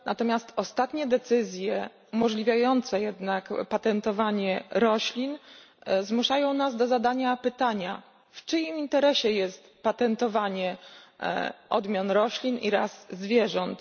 Natomiast ostatnie decyzje umożliwiające jednak patentowanie roślin zmuszają nas do zadania pytania, w czyim interesie jest patentowanie odmian roślin i ras zwierząt.